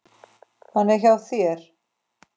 Hann er hjá þér.